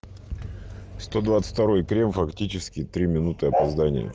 сто двадцать второй трём фактически три минуты опоздания